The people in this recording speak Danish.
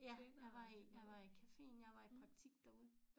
Ja jeg var i jeg var i caféen jeg var i praktik derude